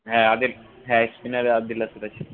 হ্যাঁ আদিল হ্যাঁ spinner আদিল রাশিদ আছে।